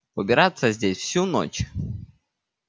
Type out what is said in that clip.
убираться здесь всю ночь